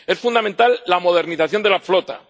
Es fundamental la modernización de la flota.